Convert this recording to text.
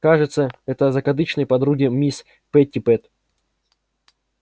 кажется это закадычные подруги мисс питтипэт